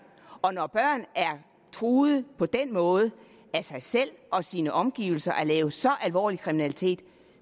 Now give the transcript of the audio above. når børn er truet på den måde af sig selv og sine omgivelser og laver så alvorlig kriminalitet